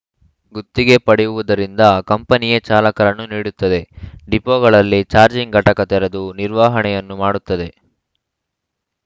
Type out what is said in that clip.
ಗುತ್ತಿಗೆ ಪಡೆಯುವುದರಿಂದ ಕಂಪನಿಯೇ ಚಾಲಕರನ್ನು ನೀಡುತ್ತದೆ ಡಿಪೋಗಳಲ್ಲಿ ಜಾರ್ಜಿಂಗ್‌ ಘಟಕ ತೆರೆದು ನಿರ್ವಹಣೆಯನ್ನೂ ಮಾಡುತ್ತದೆ